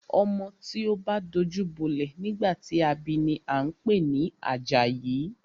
Ọmọ tí o bá dajú bolẹ̀ nígbà tí a bi ni a ń pè ní Àjàyí.